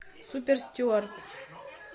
суперстюард